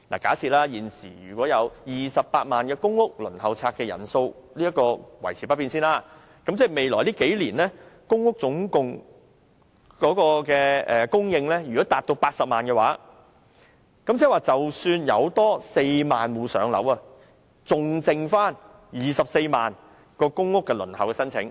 假設現時28萬個公屋申請數目維持不變，如果未來數年公屋單位供應達到80萬個，即多讓4萬戶"上樓"，還餘下24萬個公屋輪候申請。